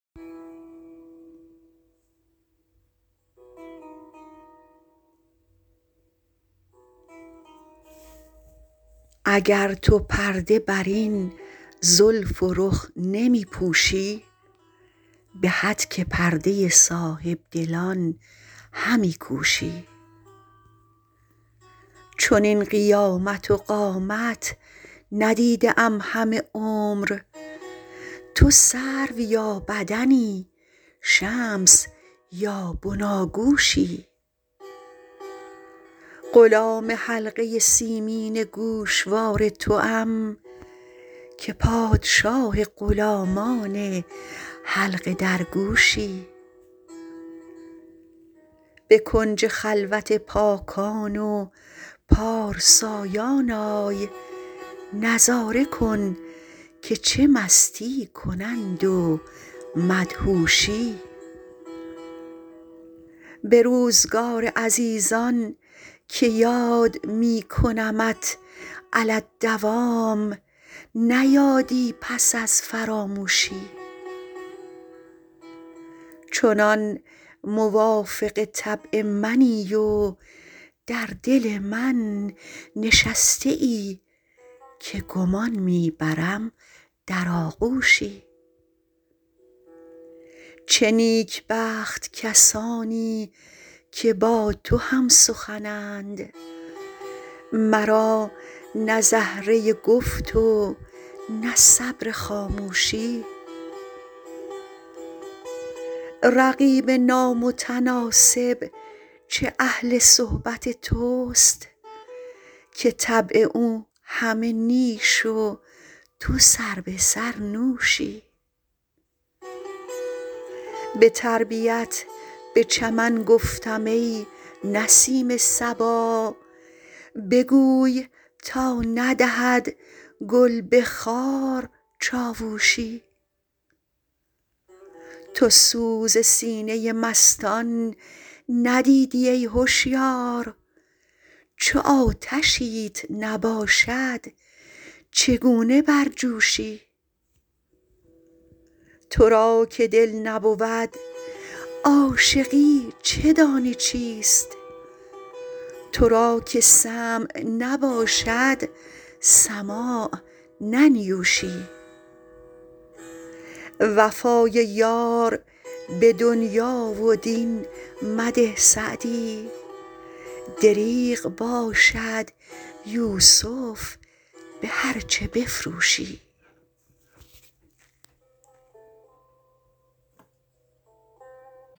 اگر تو پرده بر این زلف و رخ نمی پوشی به هتک پرده صاحب دلان همی کوشی چنین قیامت و قامت ندیده ام همه عمر تو سرو یا بدنی شمس یا بناگوشی غلام حلقه سیمین گوشوار توام که پادشاه غلامان حلقه درگوشی به کنج خلوت پاکان و پارسایان آی نظاره کن که چه مستی کنند و مدهوشی به روزگار عزیزان که یاد می کنمت علی الدوام نه یادی پس از فراموشی چنان موافق طبع منی و در دل من نشسته ای که گمان می برم در آغوشی چه نیکبخت کسانی که با تو هم سخنند مرا نه زهره گفت و نه صبر خاموشی رقیب نامتناسب چه اهل صحبت توست که طبع او همه نیش و تو سربه سر نوشی به تربیت به چمن گفتم ای نسیم صبا بگوی تا ندهد گل به خار چاووشی تو سوز سینه مستان ندیدی ای هشیار چو آتشیت نباشد چگونه برجوشی تو را که دل نبود عاشقی چه دانی چیست تو را که سمع نباشد سماع ننیوشی وفای یار به دنیا و دین مده سعدی دریغ باشد یوسف به هرچه بفروشی